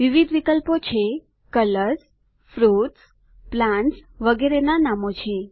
વિવિધ વિકલ્પો છે કલર્સ ફ્રૂટ્સ પ્લાન્ટ્સ વગેરેના નામો છે